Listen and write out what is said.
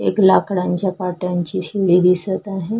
एक लाकडाच्या काट्या ची अशी मेड दिसत आहे.